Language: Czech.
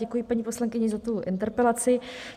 Děkuji paní poslankyni za tu interpelaci.